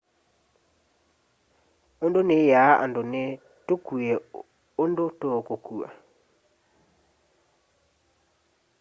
undu niyaa andu ni tukue undu tuukukua